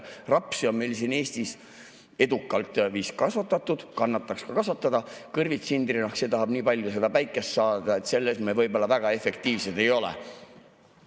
Rapsi on meil siin Eestis vist edukalt kasvatatud, kannataks kasvatada küll, kõrvits, sindrinahk, see tahab nii palju päikest saada, et selles me võib-olla väga efektiivsed ei ole.